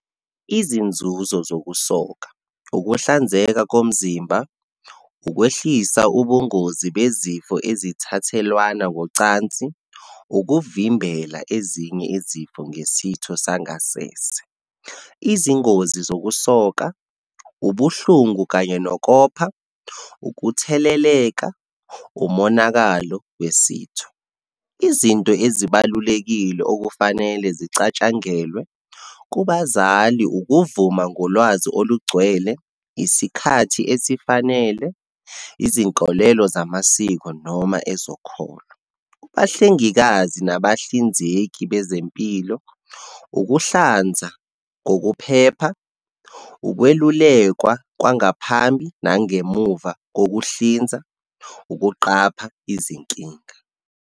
Izinzuzo zokusoka, ukuhlanzeka komzimba, ukwehlisa ubungozi bezifo ezithathelwana ngokocansi, ukuvimbela ezinye izifo ngesitho sangasese. Izingozi zokusoka, ubuhlungu kanye nokopha, ukutheleleka, umonakalo wesitho. Izinto ezibalulekile okufanele zicatshangelwe kubazali, ukuvuma ngolwazi olugcwele, isikhathi esifanele, izinkolelo zamasiko noma ezokholo. Kubahlengikazi nabahlinzeki bezempilo, ukuhlanza ngokuphepha, ukwelulekwa kwangaphambi nangemuva kokuhlinza, ukuqapha izinkinga.